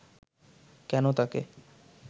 কেন তাকে